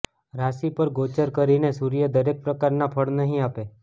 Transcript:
રાશિ પર ગોચર કરીને સૂર્ય દરેક પ્રકારના ફળ નહી આપે